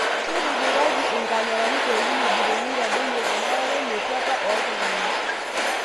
Ketipikaki inkamerani pooki wueji peyie itadoyio enarare metuata oo iltung'anak